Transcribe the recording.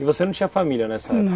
E você não tinha família nessa época?